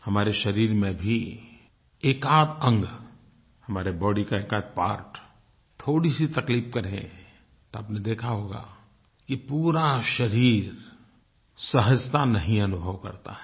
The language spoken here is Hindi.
हमारे शरीर में भी एकआध अंग हमारे बॉडी का एकआध पार्ट थोड़ीसी तकलीफ़ करे तो आपने देखा होगा कि पूरा शरीर सहजता नहीं अनुभव करता है